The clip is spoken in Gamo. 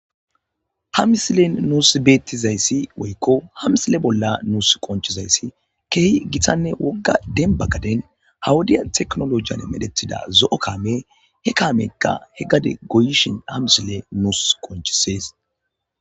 Ha misilen nuus beettizayssi woykko ha misile bolla nuus qonchizayssi keehi gitanne wogga denbagaden hawudiya teknolojiyan medhetida zo7o kaame he kaamekka he gade goyishin ha misile nuus konchisees.